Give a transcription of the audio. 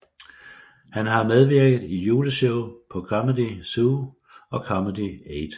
Han har medvirket i juleshow på Comedy Zoo og Comedy Aid